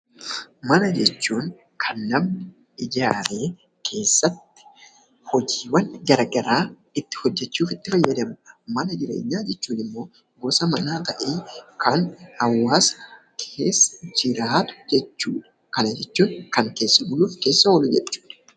Mana jechuun kan namni ijaaree keessatti hojiiwwan gara garaa itti hojjechuuf itti fayyadamudha. Mana jireenyaa jechuun immoo gosa manaa ta'ee, kan hawaasni keessa jiraatu jechuudha. Kana jechuun kan keessa buluuf keessa oolu jechuudha.